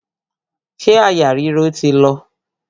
Ṣé àyà ríro ti lọ?